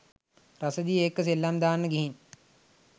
රසදිය එක්ක සෙල්ලම් දාන්න ගිහින්